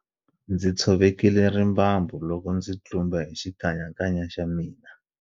Ndzi tshovekile rimbambu loko ndzi tlumba hi xikanyakanya xa mina